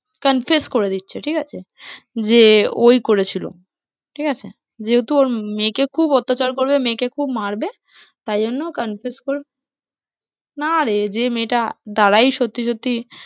confess করে দিচ্ছে ঠিক আছে? যে ওই করেছিল ঠিক আছে? যেহেতু ওর মেয়েকে খুব অত্যাচার করবে মেয়েকে খুব মারবে তারজন্যে confess না রে যে মেয়েটার দ্বারাই সত্যি সত্যি